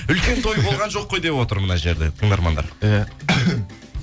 үлкен той болған жоқ қой деп отыр мына жерде тыңдармандар иә